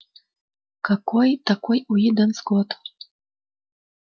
какой такой уидон скотт